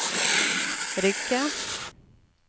Rygge